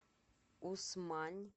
усмань